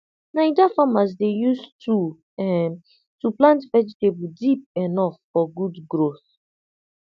naija farmers dey use tool um to plant vegetable deep enough for good growth